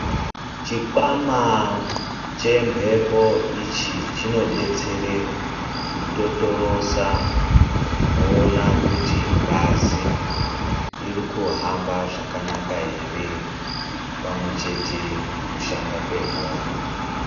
Chikwama chemhepo ichi chinodetsera kutotorosa kuona kuti ngazi irikuhamba zvakanaka ere pamwechete kushanda kwemwoyo.